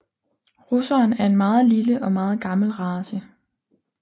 Russeren er en meget lille og meget gammel race